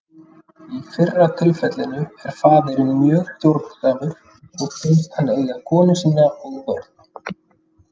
Í fyrra tilfellinu er faðirinn mjög stjórnsamur og finnst hann eiga konu sína og börn.